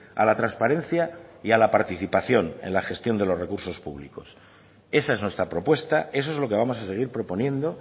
a la transparencia y a la participación en la gestión de los recursos públicos esa es nuestra propuesta eso es lo que vamos a seguir proponiendo